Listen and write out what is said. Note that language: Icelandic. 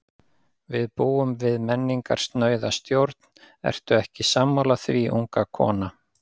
Við búum við menningarsnauða stjórn, ertu ekki sammála því, unga kona?